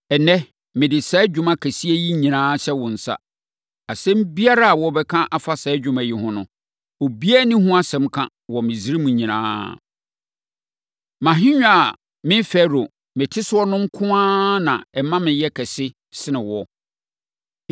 Ɛnnɛ, mede saa adwuma kɛseɛ yi nyinaa hyɛ wo nsa. Asɛm biara a wobɛka afa saa adwuma yi ho no, obiara nni ho asɛm ka wɔ Misraim nyinaa. Mʼahennwa a me Farao, mete so no nko ara na ɛma meyɛ kɛse sene wo.”